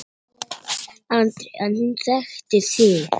Andri: En hún þekkti þig?